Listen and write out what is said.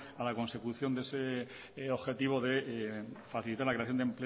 para la consecución de ese objetivo de facilitar la creación